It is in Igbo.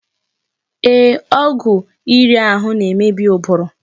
Ee, ọgwụ iri ahụ na-emebi ụbụrụ.